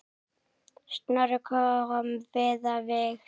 Snorri kom víða við.